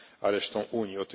reszty Unii.